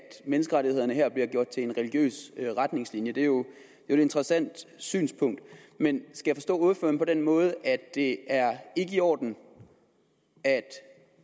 menneskerettighederne her bliver gjort til en religiøs retningslinje det er jo et interessant synspunkt men skal jeg forstå ordføreren på den måde at det ikke er i orden at